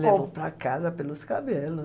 Levou para casa pelos cabelos.